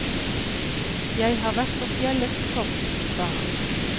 Jeg har vært på fjellets topp, sa han.